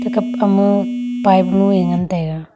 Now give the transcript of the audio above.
kapka mo pipe mue ngan taiga.